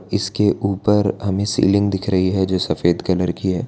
इसके ऊपर हमें सीलिंग दिख रही है जो सफेद कलर की है।